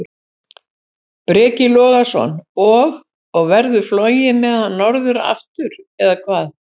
Breki Logason: Og, og verður flogið með hann norður aftur, eða hvað?